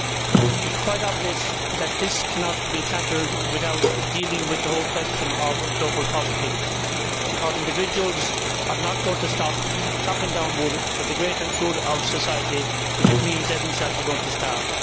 It is quite obvious that this cannot be tackled without dealing with the whole question of global poverty, because individuals are not going to stop chopping down wood for the greater good of society if it means they themselves are going to starve.